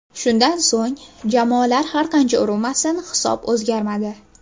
Shundan so‘ng jamoalar har qancha urinmasin hisob o‘zgarmadi.